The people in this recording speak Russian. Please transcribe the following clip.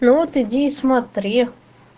вот иди и смотри